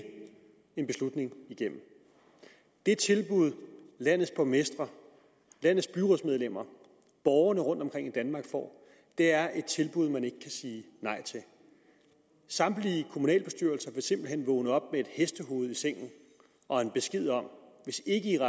en beslutning igennem det tilbud landets borgmestre landets byrådsmedlemmer og borgerne rundtomkring i danmark får er et tilbud man ikke kan sige nej til samtlige kommunalbestyrelser vil simpelt hen vågne op med et hestehoved i sengen og en besked om at hvis ikke